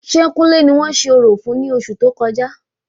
Ṣé kúnlè ni wọ́n ṣe orò fún ní oṣù tó kọjá?